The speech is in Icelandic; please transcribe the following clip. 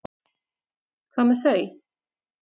Hvað með þau?